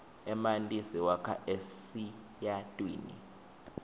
emanti siwakha esiyatwini